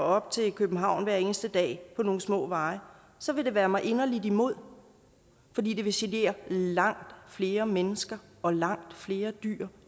op til københavn hver eneste dag på nogle små veje så vil det være mig inderligt imod fordi det vil genere langt flere mennesker og langt flere dyr